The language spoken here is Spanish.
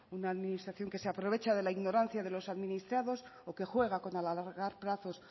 una administración que se aprovecha de la ignorancia de los administrados o que juega con alargar plazos